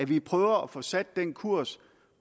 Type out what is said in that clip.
vi prøver at få sat den kurs